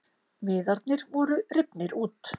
Miðarnir voru rifnir út